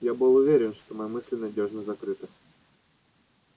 я был уверен что мои мысли надёжно закрыты